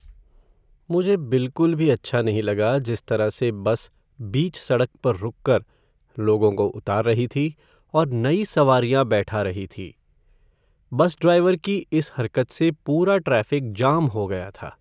मुझे बिलकुल भी अच्छा नहीं लगा जिस तरह से बस बीच सड़क पर रुककर लोगों को उतार रही थी और नई सवारियां बैठा रही थी। बस ड्राइवर की इस हरकत से पूरा ट्रैफ़िक जाम हो गया था।